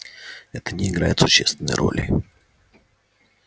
это не играет существенной роли